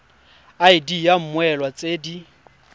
id ya mmoelwa tse di